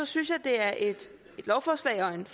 synes jeg det er et lovforslag og en